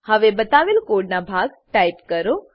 હવે બતાવેલ કોડનો ભાગ ટાઈપ કરો